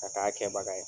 Ka k'a kɛbaga ye